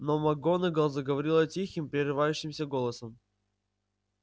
но макгонагалл заговорила тихим прерывающимся голосом